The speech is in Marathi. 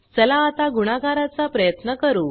चला आता गुणाकारचा चा प्रयत्न करू